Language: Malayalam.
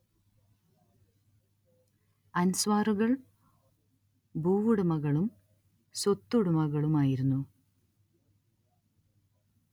അൻസ്വാറുകൾ ഭൂവുടമകളും സ്വത്തുടമകളുമായിരുന്നു